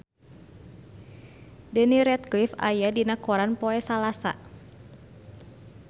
Daniel Radcliffe aya dina koran poe Salasa